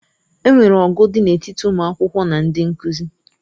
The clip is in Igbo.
E nwere ọgụ dị n'etiti ụmụ akwụkwọ na ndị nkuzi.